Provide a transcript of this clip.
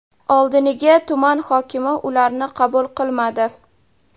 Oldiniga tuman hokimi ularni qabul qilmadi.